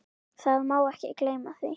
Það má ekki gleyma því.